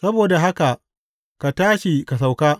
Saboda haka ka tashi ka sauka.